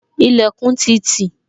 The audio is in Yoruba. Ilẹkun ti tì